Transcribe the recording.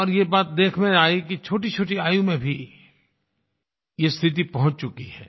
और ये बात देखने में आई छोटीछोटी आयु में भी ये स्थिति पहुँच चुकी है